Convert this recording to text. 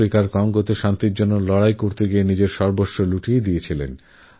আফ্রিকার কঙ্গোয় শান্তির জন্য লড়াই করতেগিয়ে নিজের সর্বস্ব ত্যাগ করেছিলেন